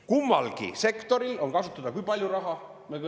Kummalgi sektoril on kasutada kui palju raha?